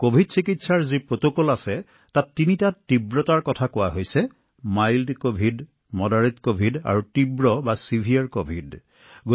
কভিডৰ চিকিৎসাৰ যি প্ৰটকল আছে তাত তিনি প্ৰকাৰৰ তীব্ৰতা আছে পাতল বা মৃদু কভিডৰ বাবে ক্লিনিক চিকিৎসা প্ৰটোকল মজলীয়া বা মডাৰেট কভিড আৰু তীব্ৰ কভিড যাক গুৰুতৰ কভিড বুলি কোৱা হয়